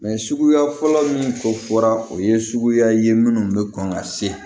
suguya fɔlɔ min ko fɔra o ye suguya ye minnu bɛ kɔn ka se